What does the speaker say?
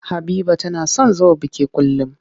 Habiba tana son zuwa biki kullum.